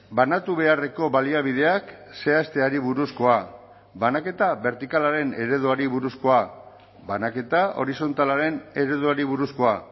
banatu beharreko baliabideak zehazteari buruzkoa banaketa bertikalaren ereduari buruzkoa banaketa horizontalaren ereduari buruzkoa